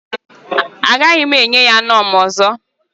Agaghị m enye ya knorr m ọzọ